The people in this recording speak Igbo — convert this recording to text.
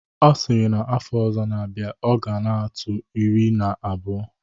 Ọ sịrị na afọ ọzọ na-abịa, ọ ga na-atụ iri na abụọ.